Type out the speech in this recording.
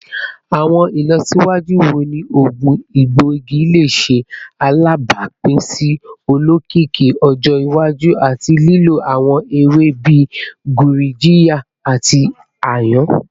Awọn ilọsiwaju wo ni oogun egboigi le ṣe alabapin si olokiki ọjọ iwaju ati lilo awọn ewe bii gurjiya ati ayan?